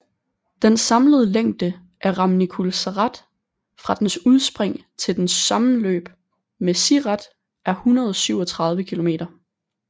Den samlede længde af Râmnicul Sărat fra dens udspring til dens sammenløb med Siret er 137 km